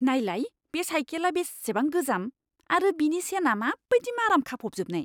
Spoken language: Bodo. नायलाय बे साइखेला बेसेबां गोजाम आरो बेनि चेनआ माबायदि माराम खाफबजोबनाय!